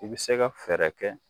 U bi se ka fɛɛrɛ kɛ